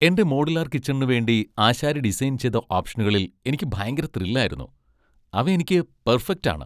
എന്റെ മോഡുലാർ കിച്ചണു വേണ്ടി ആശാരി ഡിസൈൻ ചെയ്ത ഓപ്ഷനുകളിൽ എനിക്ക് ഭയങ്കര ത്രിൽ ആയിരുന്നു. അവ എനിക്ക് പെർഫെക്റ്റ് ആണ്!